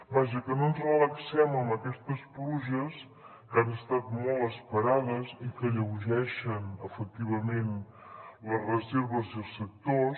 vaja que no ens relaxem amb aquestes pluges que han estat molt esperades i que alleugereixen efectivament les reserves i els sectors